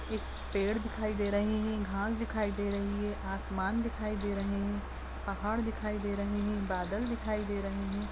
एक पेड़ दिखाई दे रहे हैं घास दिखाई दे रही हैं आसमान दिखाई दे रहे हैं पहाड़ दिखाई दे रहे हैं बादल दिखाई दे रहे हैं।